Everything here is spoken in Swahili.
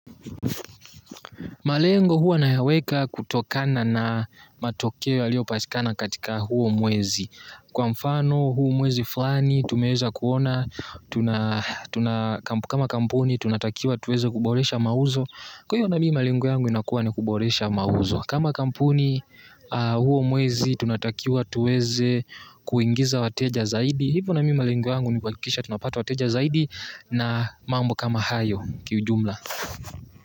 Malengo huwa nayaweka kutokana na matokeo yalio patikana katika huo mwezi. Kwa mfano huu mwezi fulani tumeweza kuona kama kampuni tunatakiwa tuweze kuboresha mauzo. Kwa hiyo na mimi malengo yangu inakuwa ni kuboresha mauzo. Kama kampuni huo mwezi tunatakiwa tuweze kuingiza wateja zaidi. Hivyo na mimi malengo yangu nikuhakikisha tunapata wateja zaidi na mambo kama hayo kiujumla.